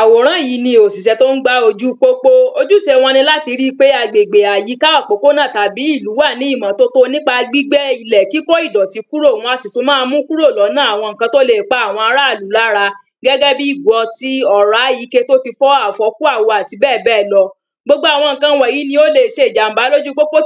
Àwòrán yìí ni òsìsẹ́ tó ń gbá ojú pópó. Ojúse wọn ni láti ri pé agbègbè, àyíká, òpópónà tàbí ìlú wà ní ìmọ́tótó nípa gbígbẹ́ ilẹ̀, kíkó ìdọ̀tí kúrò, wọn a sì tún máa mú kúrò lọ́nà àwọn ǹǹkan tó le pa àwọn ará ilú lára. Gẹ́gẹ́ bí ìgo ọtí, ọ̀rá, ike tó ti fọ́, àfọ́kù àwo àti bẹ́ẹ̀ bẹ́ẹ̀ lọ Gbogbo àwọn ǹǹkn wọ̀nyìí ni ó le ṣe ìjàm̀bá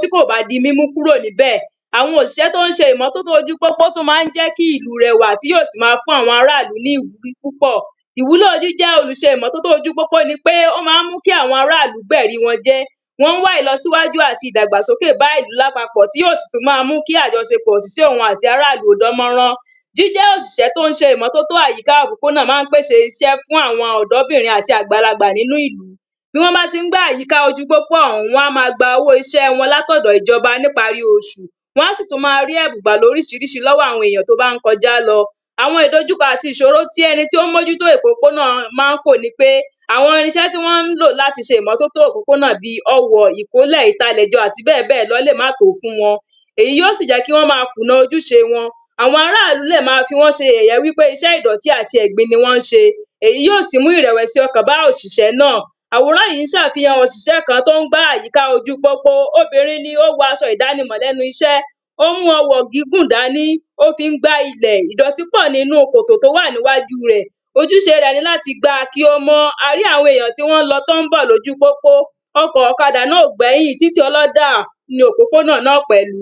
tí kò bá di mímú kúrò níbẹ̀ Àwọn oṣìṣẹ́ tó ń ṣe ìmọ́tótó oju pópó tó máá ń jẹ́ kí ìlú rẹwà, tí yóó sì máa fún àwọn ará ìlù ní ìwúrí púpọ̀ Ìwúlò jíjẹ́ olùṣe ìmọ́tótó oju pópó ni pé ó máá ń mú kí àwọn ará ìlú gbẹ̀ri wọn jẹ́. Wọ́n ń wá ìlọsíwájú àti ìdàgbàsókè bá ìlú lápapọ̀ tí yóó sì tún máa mú kí àjọsepọ̀ sí òun àti ará ìlú dán mọ́rán Jíjẹ́ òsìsẹ́ tó ń ṣe ìmọ́tótó àyíká òpópónà máá ń pèse iṣẹ́ fún àwọn ọ̀dọ́bìnrin àti àgbàlagbà nínú ìlú, tí wọ́n bá ti ń gbá àyíká ojú pópó ọ̀hún wọ́n á máa gba owó iṣẹ wọn láti ọ̀dọ ìjọba ní ìparí oṣù, wọ́n á sì tún máa rí ẹ̀bùn gbà lóríṣirííṣi lọ́wọ́ àwọn ènìyàn tó bá ń kọjá lọ Àwọn ìdojúkọ àti ìṣòro ti ẹni tó ń mójútó òpópónà máá ń kò ni pé: àwọn irinṣẹ́ tí wọ́n ń lò láti ṣe ìmọ́tótó òpópónà bí i ọwọ̀, ìkólẹ̀, ìtalẹ̀jọ àti bẹ́ẹ̀ bẹ́ẹ̀ lọ lè má tò ó fún wọn, èyí yóó sì jẹ́ kí wọ́n máa kùna ojúṣe wọn Àwọn ará ìlú lè máa fi wọ́n ṣe yẹ̀yẹ́ wípé iṣẹ́ ìdọ̀tí ni wọ́n ń ṣe èyí yóó sì mú ìrẹ̀wẹ̀sí ọkàn bá oṣìṣẹ́ náà Àwòrán yìí n ṣe àfihàn òsìsẹ́ tó ń gbá àyíká ojú pópó. Obìnrin ni ó wọ asọ ìdánimọ̀ lẹ́nu iṣẹ́, ó mú ọwọ̀ gígùn dání ó fi ń gbá ilẹ̀, ìdọ̀tí pọ̀ nínu kòtò tó wà níwáju rẹ̀ Ojúṣe rẹ̀ ni l´ti gba kí ó mọ́. A rí àwọn èèyàn tí wọ́n ń lọ tí wọ́n ń bọ̀ lóju pópó, ọkọ̀, ọ̀kadà náà ò gbẹ́yìn, títí ọlọ́dà ni òpópónà náà pẹ̀lú